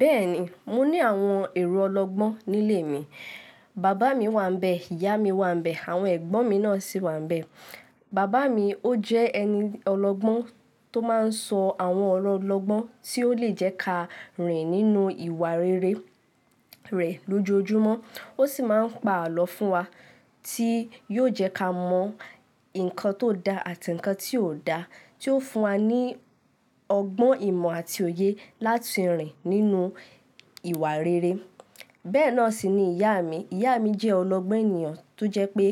Bẹ́ẹ̀ni, mo ní àwọn èrò ọlọ́gbọ́n nílé mi. Bàbá mi wà n bẹ́ẹ̀, ìyá mi wà n bẹ́ẹ̀, àwọn ẹ̀gbọ́n mi náà sì wà n bẹ́ẹ̀. Bàbá mi ó jẹ́ ẹni ọlọ́gbọ́n tó máa n sọ àwọn ọ̀rọ̀ ọlọ́gbọ́n tí ó lè jẹ́ ká rìn nínú ìwà rere rẹ̀ lójoojúmọ́. Ó sì máa ń pa àlọ́ fún wa tí yóò jẹ́ ká mọ̀ nǹkan tó da àti nǹkan tí ò da tí ó fún wa ní ọgbọ́n, ìmọ̀ àti òye láti rìn nínú ìwà rere. Bẹ́ẹ̀ náà sì ni ìyá mi. Ìyá mi jẹ́ ọlọ́gbọ́n ènìyàn tó jẹ́ pé